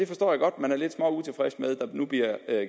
forstår godt at man er lidt utilfreds med at der nu bliver